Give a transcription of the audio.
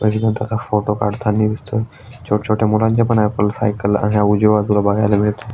एक जण त्याचा फोटो काढताना दिसतोय छोट छोट मुलांच्या पण या सायकल आहे आणि या उजव्या बाजुला बगायला मिळतेय.